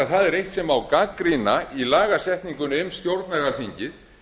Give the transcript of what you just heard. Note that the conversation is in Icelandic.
það er eitt sem má gagnrýna í lagasetningu um stjórnlagaþingið